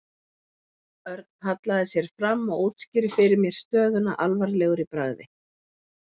Örn hallaði sér fram og útskýrði fyrir mér stöðuna alvarlegur í bragði.